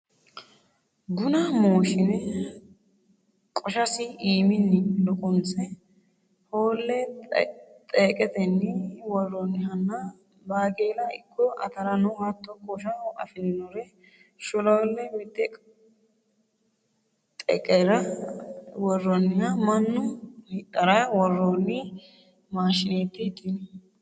Buna mooshine qoshasi iimini luqanse hoole xeqetenni woroonihanna baaqella ikko atarano hatto qoshsha afirinore sholole mite xeqera woroniha mannu hidhara worooni maashinetenni tu'ne.